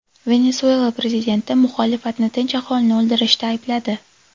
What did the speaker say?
Venesuela prezidenti muxolifatni tinch aholini o‘ldirishda aybladi.